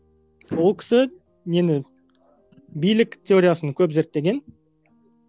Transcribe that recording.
ол кісі нені билік теориясын көп зерттеген